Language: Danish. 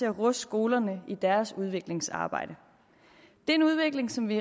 at ruste skolerne i deres udviklingsarbejde det er en udvikling som vi